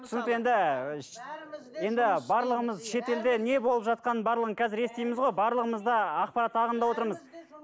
түсінікті енді енді барлығымыз шетелде не болып жатқанын барлығын қазір естиміз ғой барлығымыз да ақпарат ағымда отырмыз